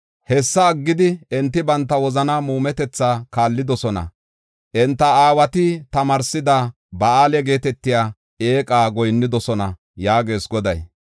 Hessa aggidi, enti banta wozanaa muumetetha kaallidosona; enta aawati tamaarsida Ba7aale geetetiya eeqa goyinnidosona” yaagees Goday.